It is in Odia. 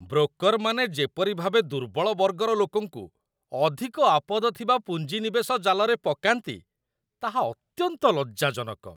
ବ୍ରୋକର୍‌ମାନେ ଯେପରି ଭାବେ ଦୁର୍ବଳ ବର୍ଗର ଲୋକଙ୍କୁ ଅଧିକ ଆପଦ ଥିବା ପୁଞ୍ଜି ନିବେଶ ଜାଲରେ ପକାନ୍ତି, ତାହା ଅତ୍ୟନ୍ତ ଲଜ୍ଜାଜନକ।